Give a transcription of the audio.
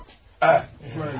Çəkilin, yol verin!